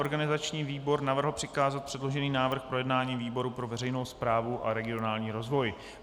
Organizační výbor navrhl přikázat předložený návrh k projednání výboru pro veřejnou správu a regionální rozvoj.